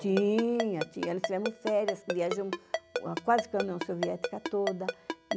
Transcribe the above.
Tinha, tínhamos férias, viajamos quase pela União Soviética toda.